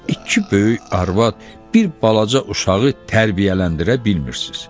İki böyük arvad bir balaca uşağı tərbiyələndirə bilmirsiz.